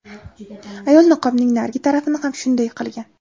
Ayol niqobning narigi tarafini ham shunday qilgan.